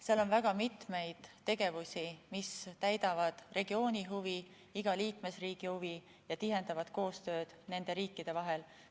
Seal on väga mitmeid tegevusi, mis vastavad regiooni huvidele, iga liikmesriigi huvidele ja tihendavad koostööd nende riikide vahel.